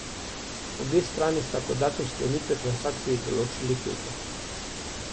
Obe strani sta kot datum sklenitve transakcije določili petek.